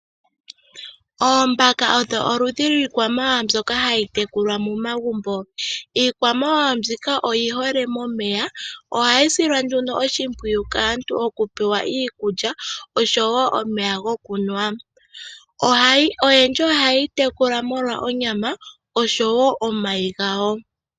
Oombaka odho oludhi lwiikwamawawa mbyoka hayi tekulwa momagumbo. Iikwamawawa mbika oyi hole momeya, ohayi silwa oshimpwiyu kaantu okupewa iikulya oshowo omeya gokunwa. Oyendji ohaye yi tekula omolwo onyama oshowo omayi gawo.